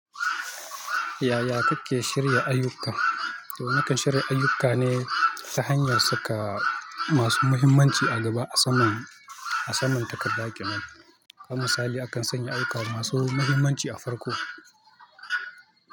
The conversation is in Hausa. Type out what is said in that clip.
Yaya kakke shirya ayyukka? To, nakan shirya ayyukka ne ta hanyar saka masu mahimmanci a gaba a saman, a saman takarda ƙenan. Ham misali, akan sanya ayyukka masu mahimmanci a farko.